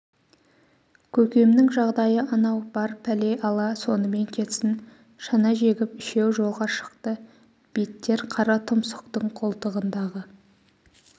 көкемнің жағдайы анау бар пәле-ала сонымен кетсін шана жегіп үшеу жолға шықты беттер қара тұмсықтың қолтығындағы